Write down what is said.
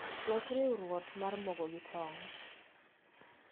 Los riuruot mar mogo gi tong